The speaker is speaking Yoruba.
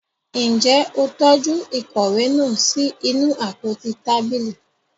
Njẹ o tọju ìkòwé náà sí inú àpótí tábìlì?